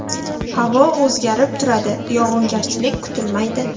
Havo o‘zgarib turadi, yog‘ingarchilik kutilmaydi.